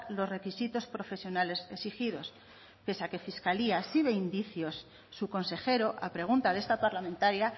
los requisitos profesionales exigidos pese a que fiscalía sí ve indicios su consejero a pregunta de esta parlamentaria